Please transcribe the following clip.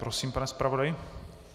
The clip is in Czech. Prosím, pane zpravodaji.